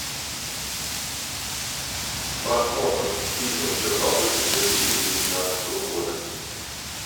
просмотр фильма чернобыль две тысячи девятнадцатого года